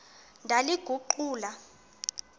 ndaliguqula